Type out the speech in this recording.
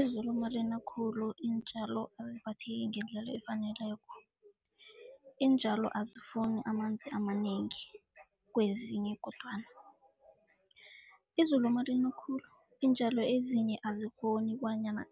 Izulu malina khulu iintjalo aziphatheki ngendlela efaneleko. Iintjalo azifuni amanzi amanengi kwezinye kodwana. Izulu malina khulu iintjalo ezinye azikghoni bonyana